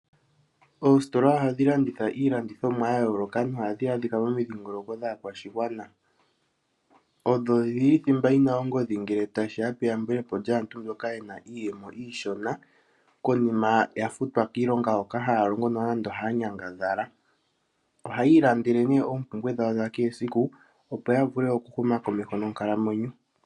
Oositola ohadhi landitha iilandithomwa ya yooloka nohadhi adhika momidhingoloko dhaakwaashigwana. Odho dhili thimba yina ongodhi ngele tashiya peyambulepo lyaantu mboka yena iiyemo iishona konima ya futwa kiilonga hoka haya longo nenge hayanyangadhala. Ohayi ilandele nee oompumbwe dhawo dha kehe esiku opo yavule okuhuma komeho nonkalamwenyo.